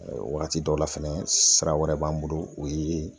Wagati dɔw la fɛnɛ sira wɛrɛ b'an bolo o ye